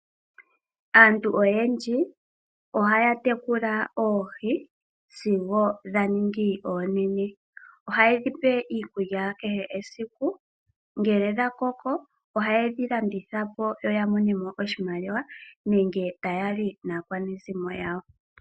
Aantu oyendji ohaya tekula oohi, sigo dha ningi oonene. Ohaye dhipe iikulya kehe esiku, ngele dha koko, ohaye dhi landitha po, yo ya mone mo oshimaliwa nenge taya li naakwanezimo yawo.